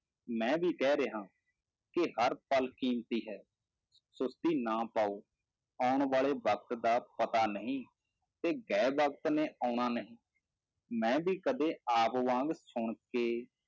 ਮੈਂ ਵੀ ਕਹਿ ਰਿਹਾਂ ਕਿ ਹਰ ਪਲ ਕੀਮਤੀ ਹੈ ਸੁਸਤੀ ਨਾ ਪਾਓ, ਆਉਣ ਵਾਲੇ ਵਕਤ ਦਾ ਪਤਾ ਨਹੀਂ, ਤੇ ਗਏ ਵਕਤ ਨੇ ਆਉਣਾ ਨਹੀਂ, ਮੈਂ ਵੀ ਕਦੇ ਆਪ ਵਾਂਗ ਸੁਣਕੇ